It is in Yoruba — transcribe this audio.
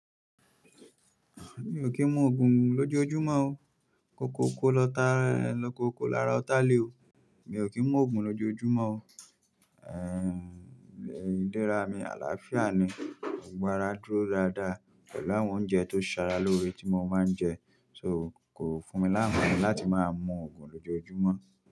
Mi ò kí ń mu ògùn lójojúmọ́ o. Kó kó kó lọ tá, kó kó lára ọ́tà lé o. Mi ò kí ń mu ògùn lójojúmọ́ o. Idẹra mi àlàáfíà ni, gbogbo àrá dúró dáadáa pẹ̀lú àwọn oúnjẹ tó ṣára lóore tí mo máa ń jẹ. So kò fún mí lanfaani láti máa mu ògùn lójojúmọ́